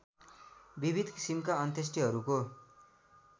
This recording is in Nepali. विविध किसिमका अन्त्येष्टिहरूको